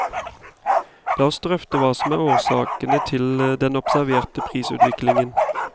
La oss drøfte hva som er årsakene til den observerte prisutviklingen.